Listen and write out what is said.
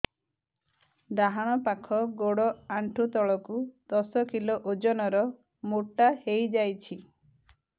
ଡାହାଣ ପାଖ ଗୋଡ଼ ଆଣ୍ଠୁ ତଳକୁ ଦଶ କିଲ ଓଜନ ର ମୋଟା ହେଇଯାଇଛି